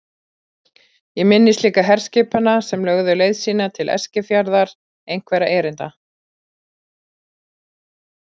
Ég minnist líka herskipanna sem lögðu leið sína til Eskifjarðar einhverra erinda.